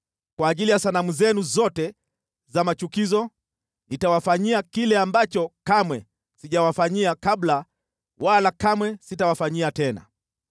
Kwa ajili ya sanamu zenu zote za machukizo, nitawafanyia kile ambacho kamwe sijawafanyia kabla wala kamwe sitawafanyia tena.